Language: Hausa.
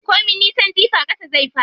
Ko min nisan jifa ƙasa zai faɗo.